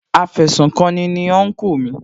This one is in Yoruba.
Afẹsùkanni ni Unkú mi